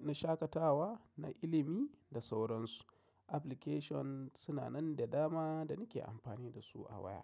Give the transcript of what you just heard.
na shaƙatawa, na ilimi da sauransu. Applications suna nan da dama da nake amfani dasu a waya.